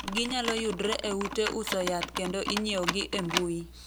Ginyalo yudre e ute uso yath kendo inyieogi e mbui.